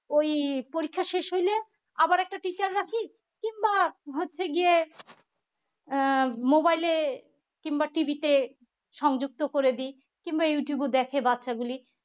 ওই পরীক্ষা শেষ হইলে আবার একটা teacher রাখি কিংবা হচ্ছে গিয়ে আহ mobile এ কিংবা TV তে সংযুক্ত করে দি কিংবা youtube ও দেখে বাচ্চা গুলি